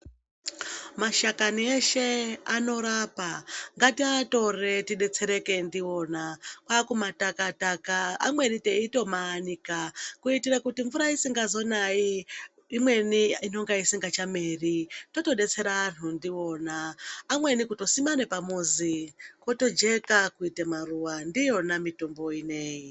Mashakani eshe anorapa ngataatore tibetsereke ndiona kwamutakataka amweni teitomaanika kuitire kuti mvura isikazonayi imweni inonga isingachameri totodetsera anhu ndiona amweni kutosima nepamuzi potojeka kuite maruwa ndiyona mitombo inoyi.